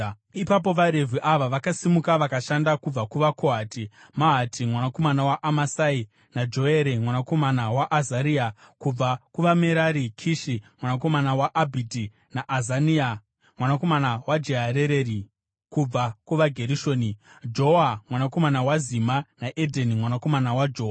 Ipapo vaRevhi ava vakasimuka vakashanda: kubva kuvaKohati, Mahati mwanakomana waAmasai naJoere mwanakomana waAzaria; kubva kuvaMerari, Kishi mwanakomana waAbhidhi naAzaria mwanakomana waJeharereri; kubva kuvaGerishoni, Joa mwanakomana waZima naEdheni mwanakomana waJoa;